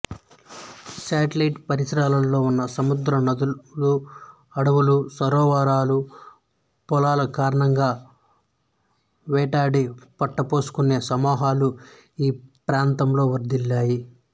Seattle పరిసరాలలో ఉన్న సముద్రం నదులు అడవులు సరోవరాలు పొలాల కారణంగా వేటాడి పొట్టపోసుకునే సమూహాలు ఈ ప్రాంతంలో వర్ధిల్లాయి